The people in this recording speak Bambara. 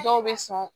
Dɔw bɛ sɔn